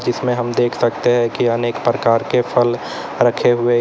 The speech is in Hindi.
जिसमें हम देख सकते हैं कि अनेक प्रकार के फल रखे हुए।